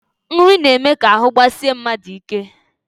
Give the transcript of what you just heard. Nri na-eme ka ahụ gbasie mmadụ ike